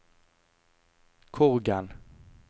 Korgen